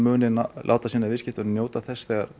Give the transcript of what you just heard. láti sína viðskiptavini njóta þess þegar